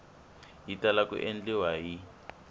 yi tala ku endliwa hi